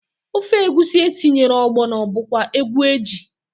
Ofe egwusi etinyere ọgbọnọ bụkwa egwu eji.